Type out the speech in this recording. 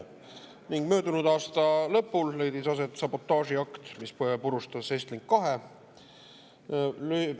Ning möödunud aasta lõpul leidis aset sabotaažiakt, mis purustas Estlink 2.